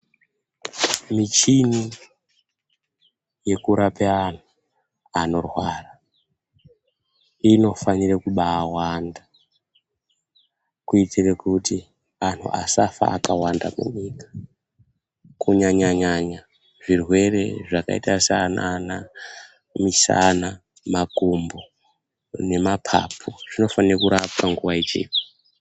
Michini yekurape anhu anorwara inofanire kubawanda kuitire kuti anhu asafe vakawanda. Kunyanya nyanya zvirwere zvakaita sanana misana, makumbo nemapapu, zvino fanire kurapwa nguva ichipo.